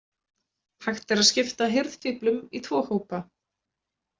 Hægt er að skipta hirðfíflum í tvo hópa.